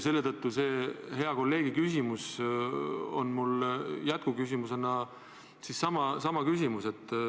Selletõttu on mul jätkuküsimus hea kolleegi küsimusele.